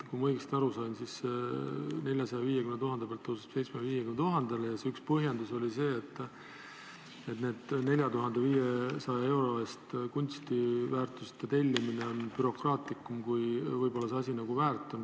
Kui ma õigesti aru sain, siis tõuseb piirmäär 450 000 euro pealt 750 000 eurole ja selle üks põhjendus oli see, et 4500 euro eest kunstiteoste tellimine on bürokraatlikum, kui asi võib-olla väärt on.